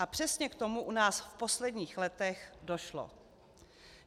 A přesně k tomu u nás v posledních letech došlo.